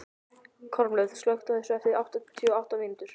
Kormlöð, slökktu á þessu eftir áttatíu og átta mínútur.